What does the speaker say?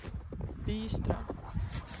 Byström